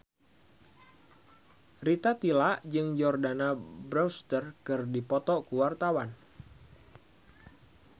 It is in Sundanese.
Rita Tila jeung Jordana Brewster keur dipoto ku wartawan